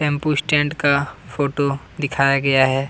tempo stand का photo दिखाया गया है |